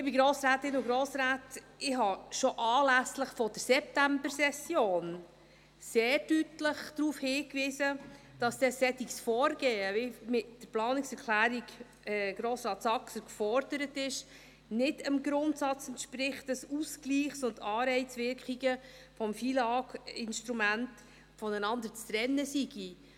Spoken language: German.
Liebe Grossrätinnen und Grossräte: Ich habe schon anlässlich der Septembersession sehr deutlich darauf hingewiesen, dass ein solches Vorgehen, wie es mit der Planungserklärung von Grossrat Saxer gefordert wurde, nicht dem Grundsatz entspricht, dass Ausgleichs- und Anreizwirkungen des FILAGInstruments voneinander zu trennen seien.